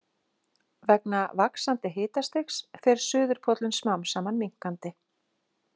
Vegna vaxandi hitastigs fer suðurpóllinn smám saman minnkandi.